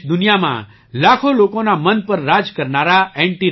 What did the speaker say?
દેશદુનિયામાં લાખો લોકોનાં મન પર રાજ કરનારા એન